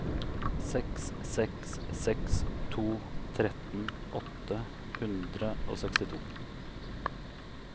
seks seks seks to tretten åtte hundre og sekstito